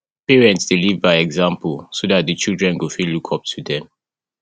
parents de live by example so that di children go fit look up to dem